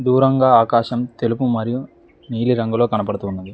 దూరంగా ఆకాశం తెలుపు మరియు నీలిరంగులో కనబడుతూ ఉన్నది.